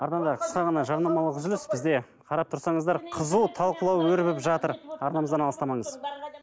арнада қысқа ғана жарнамалық үзіліс бізде қарап тұрсаңыздар қызу талқылау өрбіп жатыр арнамыздан алыстамаңыз